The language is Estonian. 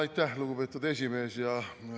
Aitäh, lugupeetud esimees!